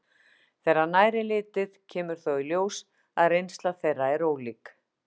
Þegar nær er litið kemur þó í ljós að reynsla þeirra er ólík.